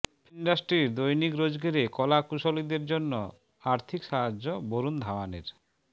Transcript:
film ইন্ডাস্ট্রির দৈনিক রোজগেরে কলাকুশলীদের জন্য আর্থিক সাহায্য বরুণ ধাওয়ানের